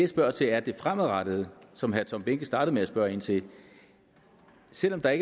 spørger til er det fremadrettede som herre tom behnke startede med at spørge ind til selv om der